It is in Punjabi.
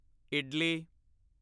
ਇਡਲੀ